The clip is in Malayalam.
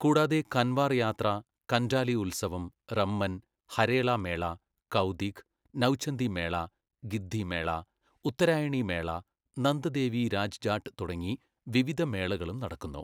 കൂടാതെ, കൻവാർ യാത്ര, കൻഡാലി ഉത്സവം, റമ്മൻ, ഹരേല മേള, കൗതിഗ്, നൗചന്ദി മേള, ഗിദ്ദി മേള, ഉത്തരായണി മേള, നന്ദ ദേവി രാജ് ജാട്ട് തുടങ്ങീ വിവിധ മേളകളും നടക്കുന്നു.